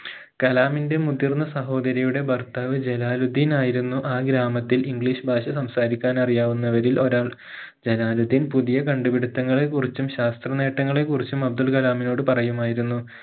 കലാമിന്റെ മുതിർന്ന സഹോദരിയുടെ ഭർത്താവ് ജലാലുദ്ധീൻ ആയിരുന്നു ആ ഗ്രാമത്തിൽ english ഭാഷ സംസാരിക്കാൻ അറിയാവുന്നവരിൽ ഒരാൾ ജലാലുദ്ധീൻ പുതിയ കണ്ടുപിടുത്തങ്ങളെ കുറിച്ചും ശാസ്ത്ര നേട്ടങ്ങളെ കുറിച്ചും അബ്ദുൾ കലാമിനോട് പറയുമായിരുന്നു